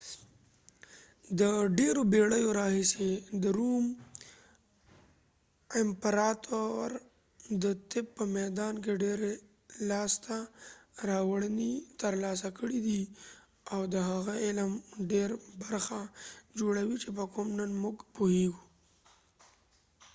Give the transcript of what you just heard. د ډیرو بیړیو راهیسی د روم امپراتور د طب په میدان کی ډیری لاسته راوړنی ترلاسه کړی دي او د هغه علم ډیره برخه جوړوي چي په کوم نن موږ پوهیږو